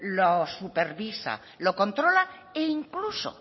lo supervisa lo controla e incluso